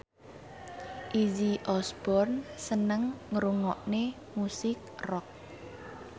Izzy Osborne seneng ngrungokne musik rock